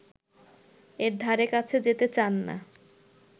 এর ধারে কাছে যেতে চান না